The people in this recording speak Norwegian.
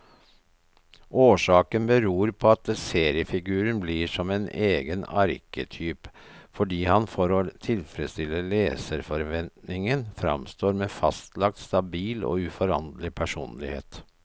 Årsaken beror på at seriefiguren blir som egen arketyp, fordi han for å tilfredstille leserforventningen framstår med fastlagt, stabil og uforanderlig personlighet.